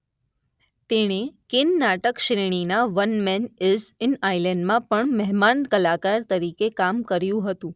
તેણે કેન નાટક શ્રેણીના વન મેન ઇઝ એન્ડ આઇલેન્ડમાં પણ મહેમાન કલાકાર તરીકે કામ કર્યું હતું.